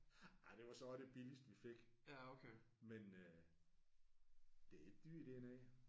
Ah det var så også det billigste vi fik men øh det er ikke dyrt dernede